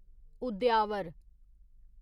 उद्यावर